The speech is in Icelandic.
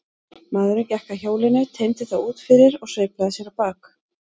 Maðurinn gekk að hjólinu, teymdi það út fyrir og sveiflaði sér á bak.